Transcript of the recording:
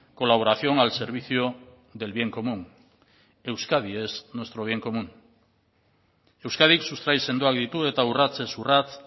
colaboración al servicio del bien común euskadi es nuestro bien común euskadik sustrai sendoak ditu eta urratsez urrats